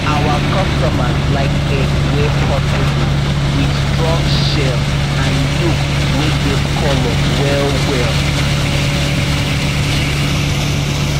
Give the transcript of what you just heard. our customers like egg wey portable with strong shell and yolk wey get colour well well